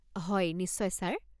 হয়, নিশ্চয় ছাৰ।